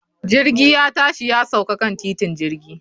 Jirgi ya tashi ya sauka kan titin jirgi